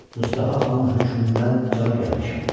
Mustafa xanın hökmündən cana gəlmişəm.